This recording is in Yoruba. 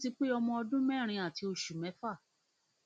ọmọ mi ti pé ọmọ ọdún mẹrin àti oṣù mẹfà